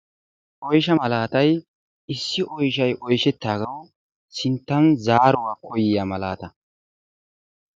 Oyshsha maalatay issi oyshshay oyshettaagawu sinttan zaaruwaa koyiyaa malaata.